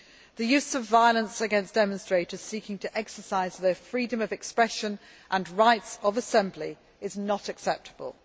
The use of violence against demonstrators seeking to exercise their freedom of expression and rights of assembly is not acceptable.